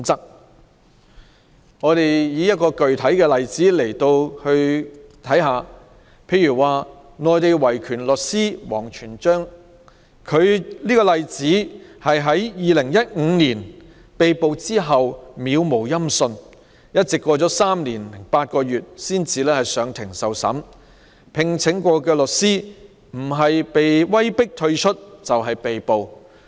讓我舉出一個具體例子，內地維權律師王全璋在2015年被捕後杳無音訊，過了3年零8個月才出庭受審，他曾聘請的律師不是被威迫退出，就是被捕。